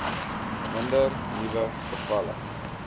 minder nuwe gevalle